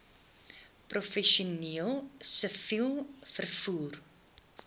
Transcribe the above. professioneel siviel vervoer